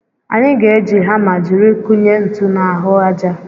Anyị ga-eji hama jiri kụnye ntu n'ahụ aja.